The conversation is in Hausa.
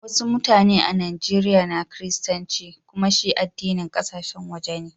Wassu mutane a Nijeriya na kiristanci kumma shi addinin kasashen waje ne.